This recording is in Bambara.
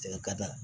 ka da